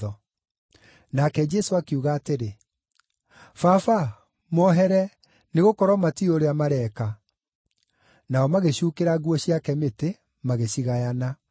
Nake Jesũ akiuga atĩrĩ, “Baba mohere, nĩgũkorwo matiũĩ ũrĩa mareeka.” Nao magĩcuukĩra nguo ciake mĩtĩ, magĩcigayana.